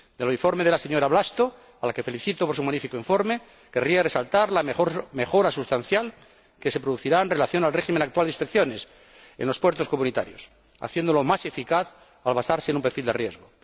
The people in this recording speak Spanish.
Del informe de la señora Vlasto, a la que felicito por su magnífico informe, querría resaltar la mejora sustancial que se producirá en relación con el régimen actual de inspecciones en los puertos comunitarios, haciéndolo más eficaz al basarse en un perfil del riesgo.